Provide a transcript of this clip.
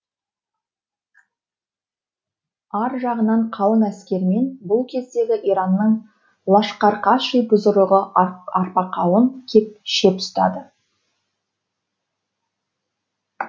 ар жағынан қалың әскермен бұл кездегі иранның лашқарқаши бұзырығы арпақауын кеп шеп ұстады